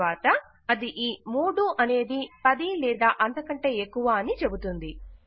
తరువాత అది ఈ 3 అనేది 10 లేదా అంతకంటే ఎక్కువ అద్ని అని చెబుతుంది